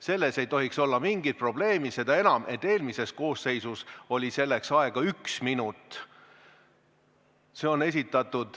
See ei tohiks olla mingi probleem, seda enam, et eelmises koosseisus oli selleks aega üks minut.